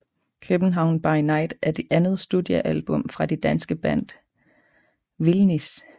København By Night er det andet studiealbum fra det danske band Vildnis